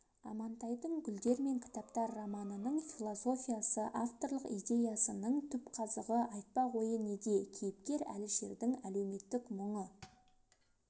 амантайдың гүлдер мен кітаптар романының философиясы авторлық идеясының түпқазығы айтпақ ойы неде кейіпкер әлішердің әлеуметтік мұңы